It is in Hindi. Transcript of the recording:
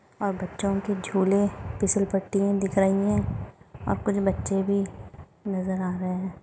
और बच्चों के झुले फिसलपट्टिये दिख रही है और कुछ बच्चे भी नजर आ रहे है।